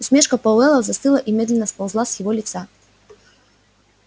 усмешка пауэлла застыла и медленно сползла с его лица